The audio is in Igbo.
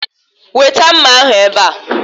Weta mma ahụ ebe a